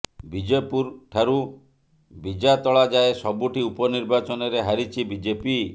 ବିଜେପୁର ଠାରୁ ବିଜାତଳା ଯାଏଁ ସବୁଠି ଉପନିର୍ବାଚନରେ ହାରିଛି ବିଜେପି